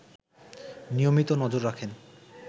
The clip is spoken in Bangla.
নিয়মিত নজর রাখেন